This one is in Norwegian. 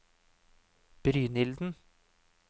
Brynilden